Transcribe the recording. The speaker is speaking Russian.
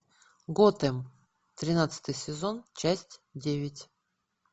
готэм тринадцатый сезон часть девять